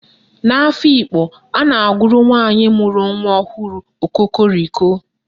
N'Afikpo, a na-agụrụ nwaanyị mụrụ nwa ọhụrụ "Okokoriko"